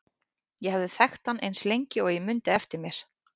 Ég hafði þekkt hann eins lengi og ég mundi eftir mér.